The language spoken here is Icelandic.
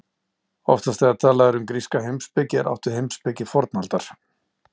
Oftast þegar talað er um gríska heimspeki er átt við heimspeki fornaldar.